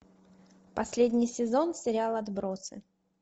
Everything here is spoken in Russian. последний сезон сериал отбросы